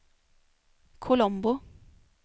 Colombo